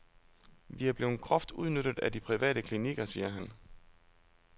Vi er blevet groft udnyttet af de private klinikker, siger han.